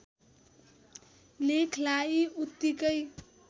लेखलाई उतिकै